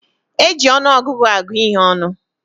E ji ọnụọgụgụ agụ ihé ọnụ